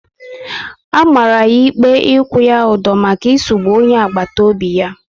A mara ya ikpe ikwu ya udo maka isugbu onye agbata obi ya